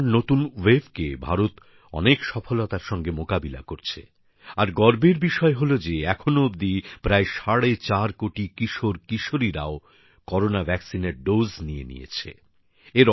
করোনার নতুন ওয়েভকে ভারত অনেক সাফল্যের সঙ্গে মোকাবিলা করছে আর গর্বের বিষয় হলো যে এখনো অবধি প্রায় সাড়ে চার কোটি কিশোরকিশোরীও করোনা টিকার ডোজ নিয়ে নিয়েছে